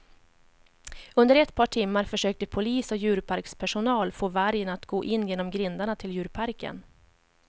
Under ett par timmar försökte polis och djurparkspersonal få vargen att gå in genom grindarna till djurparken.